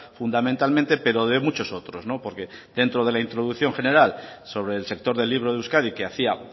fundamentalmente pero de muchos otros porque dentro de la introducción general sobre el sector del libro de euskadi que hacía